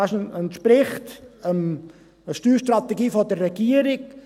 Sie entspricht der Steuerstrategie der Regierung.